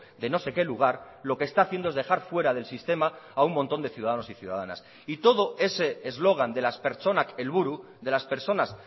de no sé qué lugar lo que está haciendo es dejar fuera del sistema a un montón de ciudadanos y ciudadanas y todo ese eslogan de las pertsonak helburu de las personas